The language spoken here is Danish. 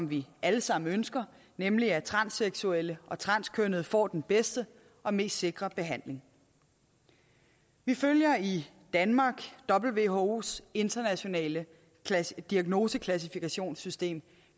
vi alle sammen ønsker nemlig at transseksuelle og transkønnede får den bedste og mest sikre behandling vi følger i danmark whos internationale diagnoseklassifikationssystem